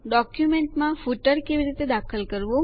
ડોક્યુંમેન્ટોમાં ફૂટરો કેવી રીતે દાખલ કરવા